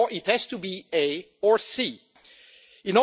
Therefore, it has to be or In